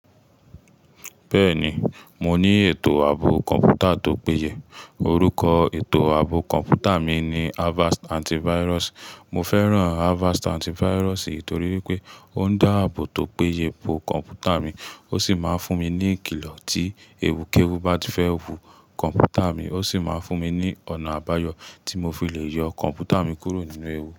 Bẹ́ẹ̀ni, mo ní ètò ààbò kọ̀ǹpútà tó péye. Orúkọ ètò ààbò kọ̀ǹpútà mi ni Avast Antivirus. Mo fẹ́ràn Avast Antivirus nítorí pé ó ń dá ààbò tó péye po kọ̀ǹpútà mi, ó sì máa ń fún mi ní ìkìlọ tí ewu kéwú bá ti fẹ́ wu kọ̀ǹpútà mi, ó sì máa ń fún mi ní ọ̀nà àbáyọ̀ tí mo fi lè yọ kọ̀ǹpútà mi kúrò nínú ewu.